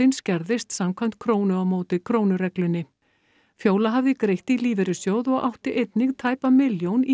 skerðist samkvæmt krónu á móti krónu reglunni fjóla hafði greitt í lífeyrissjóð og átti einnig tæpa milljón í